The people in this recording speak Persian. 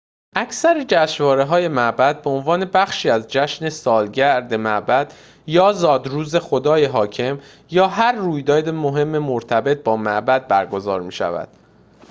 اکثر جشنواره‌های معبد به‌عنوان بخشی از جشن سالگرد معبد یا زادروز خدای حاکم یا هر رویداد مهم مرتبط با معبد برگزار می‌شود